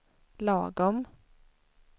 lagom